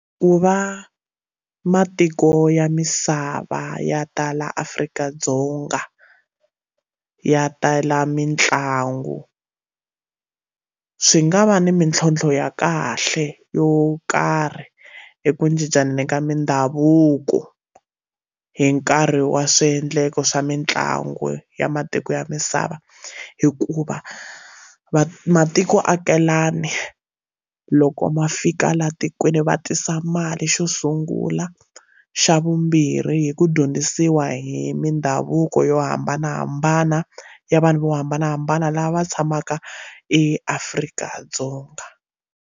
Ku va matiko ya misava ya tala Afrika-Dzonga ya tala mitlangu swi nga va ni mintlhontlho ya kahle yo karhi hi ku cincana ka mindhavuko hi nkarhi wa swiendlakalo swa mitlangu ya matiko ya misava hikuva va matiko vaakelani loko ma fika laha tikweni va tisa mali xo sungula xa vumbirhi hi ku dyondzisiwa hi mindhavuko yo hambanahambana ya vanhu vo hambanahambana lava tshamaka eAfrika-Dzonga.